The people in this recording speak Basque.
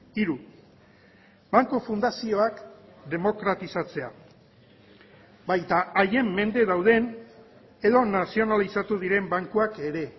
hiru banku fundazioak demokratizatzea baita haien mende dauden edo nazionalizatu diren bankuak ere